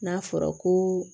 N'a fɔra ko